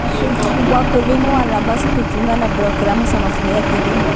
Wakulima wanapaswa kujiunga na programu za mafunzo ya kilimo.